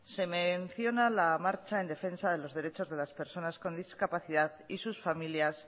se menciona la marcha en defensa de los derechos de las personas con discapacidad y sus familias